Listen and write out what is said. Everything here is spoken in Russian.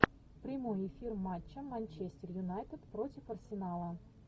прямой эфир матча манчестер юнайтед против арсенала